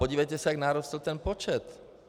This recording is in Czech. Podívejte se, jak narostl ten počet.